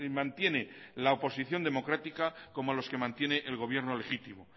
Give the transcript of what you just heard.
mantiene la oposición democrática como a los que mantiene el gobierno legítimo